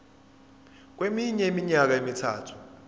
kweminye iminyaka emithathu